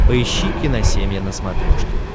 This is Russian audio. поищи киносемья на смотрешке